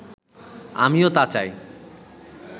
আমিও তা চাই